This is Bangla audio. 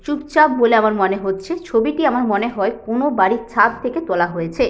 চুপচাপ বলে আমার মনে হচ্ছে ছবিটি আমার মনেহয় কোনো বাড়ির ছাদ থেকে তোলা হয়েছে।